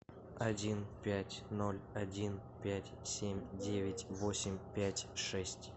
один пять ноль один пять семь девять восемь пять шесть